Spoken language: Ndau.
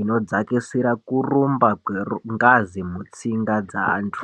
inodzakisa kurumba kwengazi mutsinga dzevantu.